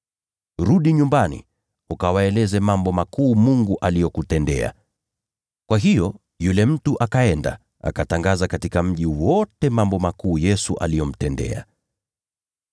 “Rudi nyumbani ukawaeleze mambo makuu Mungu aliyokutendea.” Kwa hiyo yule mtu akaenda, akatangaza katika mji wote mambo makuu ambayo Yesu alimtendea.